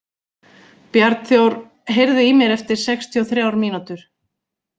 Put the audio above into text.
Bjarnþór, heyrðu í mér eftir sextíu og þrjár mínútur.